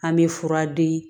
An bɛ fura di